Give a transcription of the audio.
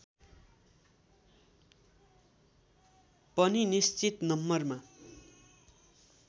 पनि निश्चित नम्बरमा